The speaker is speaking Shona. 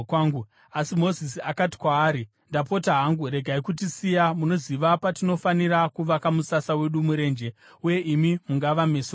Asi Mozisi akati kwaari, “Ndapota hangu regai kutisiya. Munoziva patinofanira kuvaka musasa wedu murenje, uye imi mungava meso edu.